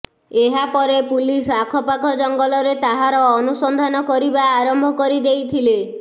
ଏହାପରେ ପୁଲିସ ଆଖପାଖ ଜଙ୍ଗଲରେ ତାହାର ଅନୁସନ୍ଧାନ କରିବା ଆରମ୍ଭ କରି ଦେଇଥିଲେ